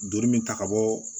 Joli min ta ka bɔ